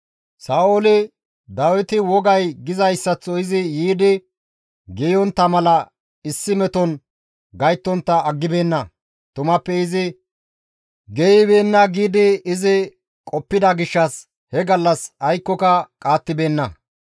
Sa7ooli, «Dawiti wogay gizayssaththo izi yiidi geeyontta mala issi meton gayttontta aggibeenna; tumappe izi geeyibeenna» giidi qoppida gishshas he gallas aykkoka qaattibeenna.